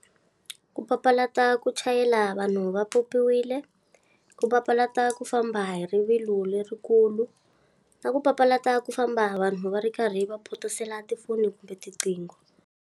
Ku papalata ku chayela vanhu va pyopyiwile, ku papalata ku famba hi rivilo lerikulu, na ku papalata ku famba vanhu va ri karhi va phosela tifoni kumbe tinqingho.